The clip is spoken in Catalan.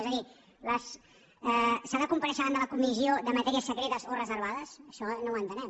és a dir s’ha de comparèixer davant de la comissió de matèries secretes o reservades això no ho entenem